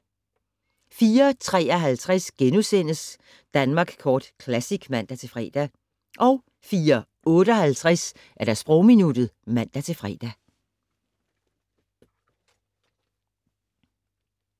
04:53: Danmark Kort Classic *(man-fre) 04:58: Sprogminuttet (man-fre)